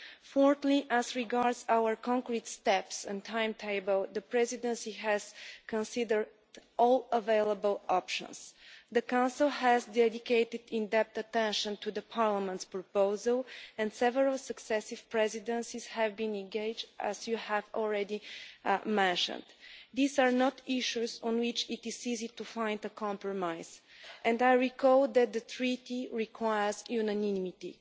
Fourthly, as regards our concrete steps and timetable, the Presidency has considered all available options. The Council has dedicated in depth attention to the Parliament's proposal and several successive Presidencies have been engaged, as you have already mentioned. These are not issues on which it is easy to find a compromise, and I recall that the Treaty requires unanimity.